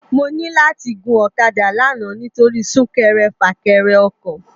Mò ni làti gún òkàdá làná nitóri súkèrè fâkèrè òkò